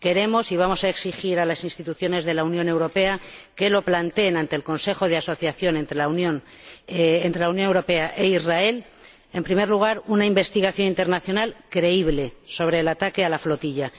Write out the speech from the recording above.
Queremos y vamos a exigir a las instituciones de la Unión Europea que lo planteen ante el Consejo de Asociación entre la Unión Europea e Israel en primer lugar, una investigación internacional creíble sobre el ataque a la flotilla